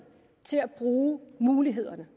til at bruge mulighederne